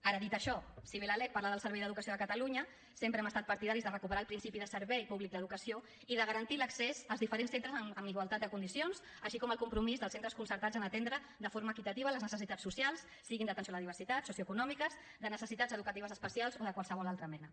ara dit això si bé la lec parla del servei d’educació de catalunya sempre hem estat partidaris de recuperar el principi de servei públic d’educació i de garantir l’accés als diferents centres amb igualtat de condicions així com el compromís dels centres concertats a atendre de forma equitativa les necessitats socials siguin d’atenció a la diversitat socioeconòmiques de necessitats educatives especials o de qualsevol altra mena